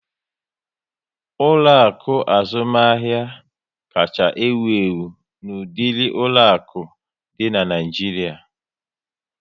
Ụlọaku azụmahịa kacha ewu ewu n'udiri ụlọaku di na Naijiria